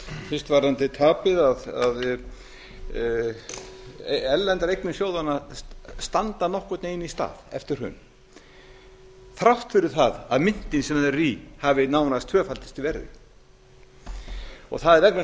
fyrst varðandi tapið erlendar eignir sjóðanna standa nokkurn veginn í stað eftir hrun þrátt fyrir það að myntin sem þær eru í hafi nánast tvöfaldast í verði það er vegna þess